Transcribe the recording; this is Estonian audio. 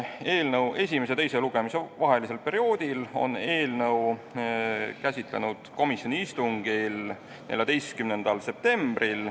Eelnõu esimese ja teise lugemise vahelisel perioodil on eelnõu käsitletud komisjoni istungil 14. septembril.